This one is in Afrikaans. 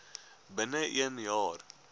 binne een jaar